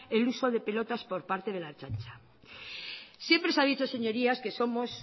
el uso de pelotas por parte de la ertzaintza siempre se ha dicho señorías que somos